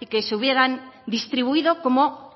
y que se hubieran distribuido como